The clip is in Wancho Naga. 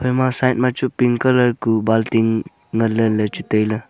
ema side machu pink kuh bunktin nganley lechu tailey.